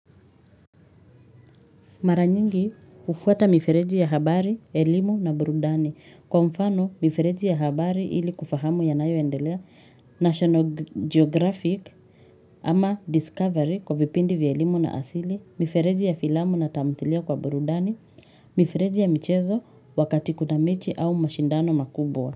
Mara nyingi hufuata mifereji ya habari, elimu na burudani. Kwa mfano, mifereji ya habari ili kufahamu yanayo endelea, National Geographic ama Discovery kwa vipindi vya elimu na asili, mifereji ya filamu na tamthilia kwa burudani, mifereji ya michezo wakati kuna mechi au mashindano makubwa.